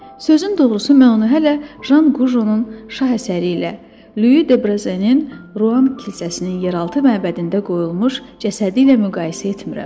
Sözün doğrusu mən onu hələ Jan Qujonun şah əsəri ilə, Lüi Debrazenin Ruan kilsəsinin yeraltı məbədində qoyulmuş cəsədi ilə müqayisə etmirəm.